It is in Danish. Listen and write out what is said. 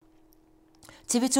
TV 2